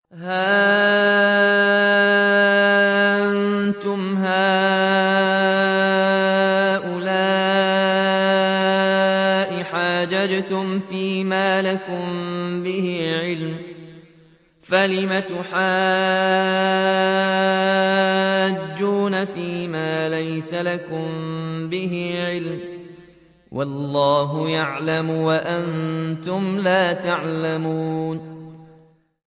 هَا أَنتُمْ هَٰؤُلَاءِ حَاجَجْتُمْ فِيمَا لَكُم بِهِ عِلْمٌ فَلِمَ تُحَاجُّونَ فِيمَا لَيْسَ لَكُم بِهِ عِلْمٌ ۚ وَاللَّهُ يَعْلَمُ وَأَنتُمْ لَا تَعْلَمُونَ